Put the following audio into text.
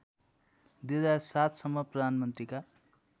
२००७ सम्म प्रधानमन्त्रीका